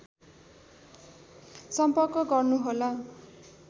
सम्पर्क गर्नुहोला